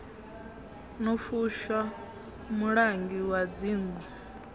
no fushwa mulangi wa dzingu